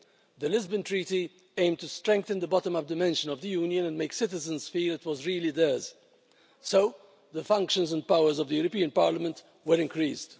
The Lisbon Treaty aimed to strengthen the bottom-up dimension of the Union and make citizens feel it was really theirs, so the functions and powers of the European Parliament were increased.